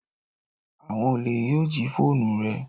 Awon ole yoo ji foonu re